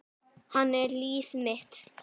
Hann er líf mitt.